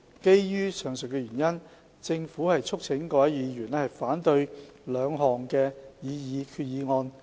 基於上述原因，政府促請各位議員反對兩項決議案。